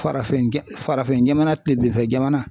Farafinja farafinjamana kilebefɛ jamana